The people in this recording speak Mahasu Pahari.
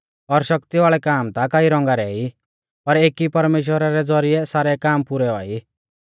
और शक्ति वाल़ै काम ता कई रौंगा रै ई पर एकी परमेश्‍वरा रै ज़ौरिऐ सारै काम पुरै औआ ई